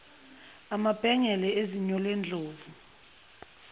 amabhengele ezinyo lendlovu